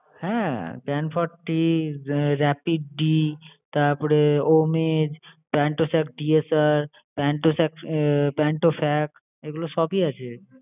হ্যাঁ pan forty, rapid d তারপরে omej, pantocid DSR, pantofast এগুলো সবই আছে।